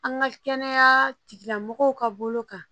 An ka kɛnɛya tigilamɔgɔw ka bolo kan